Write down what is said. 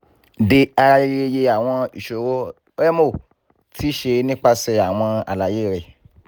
dearayeyeye awọn iṣoro rẹmo ti ṣe nipasẹ awọn alaye rẹ